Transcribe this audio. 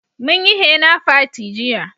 Mun yi hena fati jiya